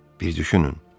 Bir düşünün.